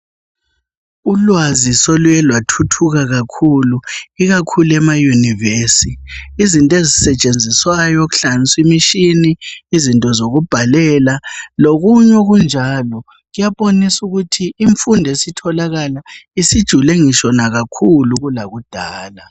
Ulwazi soluye lwathuthuka kakhulu ikakhulu emayunivesi. Izinto ezisetshenziswayo kuhlanganisa imitshini izinto zokubhalela lokunye okunjalo kuyabonisa ukuthi imfundo esitholakala isijule ngisho nakakhulu kulakudala.